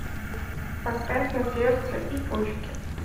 поставь на сердце и почки